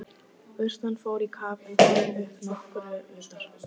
Urtan fór í kaf en kom upp nokkru utar.